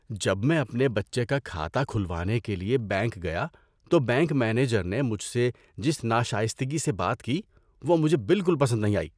جب میں اپنے بچے کا کھاتہ کھلوانے کے لیے بینک گیا تو بینک مینیجر نے مجھ سے جس ناشائستگی سے بات کی وہ مجھے بالکل پسند نہیں آئی۔